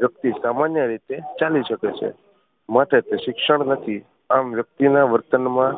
વ્યક્તિ સામાન્ય રીતે ચાલી શકે છે માટે તે શિક્ષણ નથી આમ વ્યક્તિ ના વર્તન માં